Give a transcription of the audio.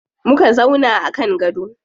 Muka zauna a kan gado.